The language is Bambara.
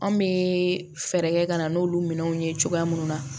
Anw bɛ fɛɛrɛ kɛ ka na n'olu minɛnw ye cogoya mun na